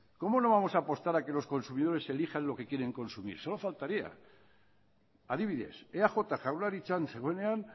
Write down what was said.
cómo no vamos a apostar a que los consumidores elijan lo que quieren consumir solo faltaría adibidez eaj jaurlaritzan zegoenean